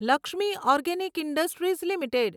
Lakshmi organic industries limited